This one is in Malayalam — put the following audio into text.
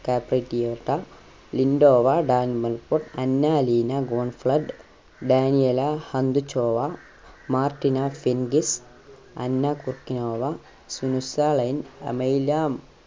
ലിൻറ്റോവ അന്ന അലീന ഗോൺഫ്ലട്, Daniela Hantuchova, Martina Hingis, Anna Kournikova അമൈലാം